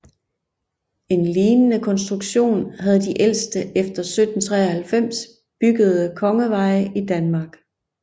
En lignende konstruktion havde de ældste efter 1793 byggede kongeveje i Danmark